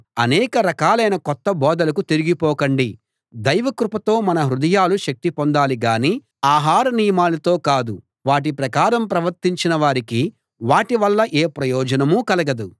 అనేక రకాలైన కొత్త బోధలకు తిరిగిపోకండి దైవకృపతో మన హృదయాలు శక్తి పొందాలి గాని ఆహారనియమాలతో కాదు వాటి ప్రకారం ప్రవర్తించిన వారికి వాటివల్ల ఏ ప్రయోజనం కలగదు